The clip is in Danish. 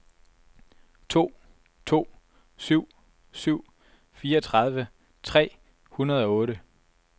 to to syv syv fireogtredive tre hundrede og otte